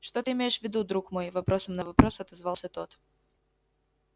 что ты имеешь в виду друг мой вопросом на вопрос отозвался тот